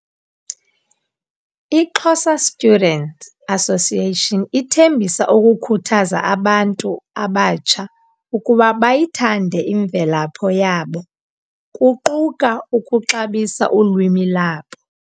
i Xhosa Students Association ithembisa ukukhuthaza abantu abatsha ukuba bayithande imvelapho yabo, kuquka ukuxabisa ulwimi lwabo.